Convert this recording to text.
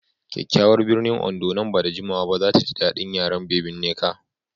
Kyakyawar birnin Ondo nan ba da jimawa ba za ta ji daɗin yaren Baby Nneka.